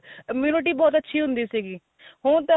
immunity ਬਹੁਤ ਅੱਛੀ ਹੁੰਦੀ ਸੀਗੀ ਹੁਣ ਤਾਂ